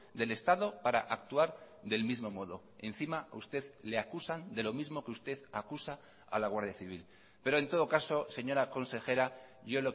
del estado para actuar del mismo modo encima a usted le acusan de lo mismo que usted acusa a la guardia civil pero en todo caso señora consejera yo